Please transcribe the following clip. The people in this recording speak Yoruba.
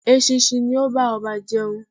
Eṣinṣin ni ó bá ọba jẹun